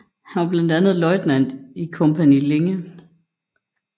Han var blandt andet løjtnant i Kompani Linge